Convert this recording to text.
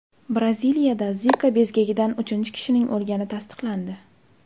Braziliyada Zika bezgagidan uchinchi kishining o‘lgani tasdiqlandi.